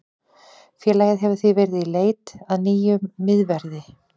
Félagið hefur því verið í í leit að nýjum miðverði.